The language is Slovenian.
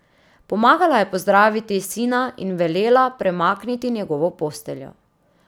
Pomagala je pozdraviti sina in velela premakniti njegovo posteljo.